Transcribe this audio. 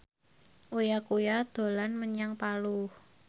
Uya Kuya dolan menyang Palu